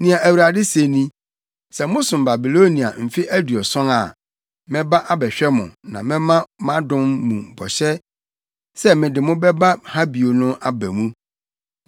Nea Awurade se ni: “Sɛ mosom Babilonia mfe aduɔson a, mɛba abɛhwɛ mo na mɛma mʼadom mu bɔhyɛ sɛ mede mo bɛba ha bio no aba mu.